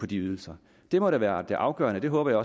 de ydelser det må da være det afgørende og det håber jeg